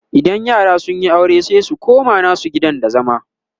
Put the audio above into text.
idan yara sunyi aure sai su koma nasu gidan da zama